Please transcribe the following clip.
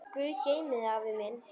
Guð geymi þig, afi minn.